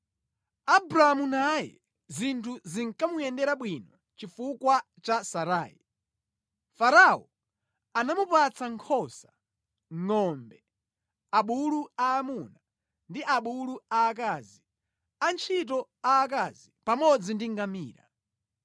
Abramu naye zinthu zinkamuyendera bwino chifukwa cha Sarai. Farao anamupatsa nkhosa, ngʼombe, abulu aamuna ndi abulu aakazi, antchito aakazi pamodzi ndi ngamira.